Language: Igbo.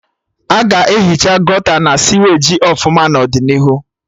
Aga ehicha Gọta na siweji ọfụma n'ọdịnihu